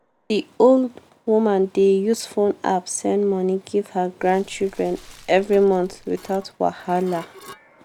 the old woman dey use phone app send money give her grandchildren every month without wahala.